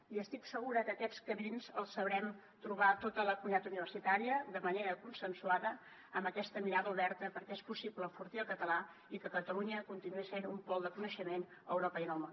i estic segura que aquests camins els sabrem trobar tota la comunitat universitària de manera consensuada amb aquesta mirada oberta perquè és possible enfortir el català i que catalunya continuï sent un pol de coneixement a europa i en el món